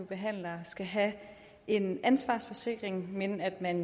behandlere skal have en ansvarsforsikring men at man